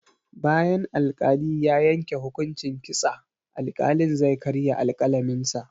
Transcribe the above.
Bayan al-kali ya yanke hukunci kitsa, al-kalin zai karya alƙalamin sa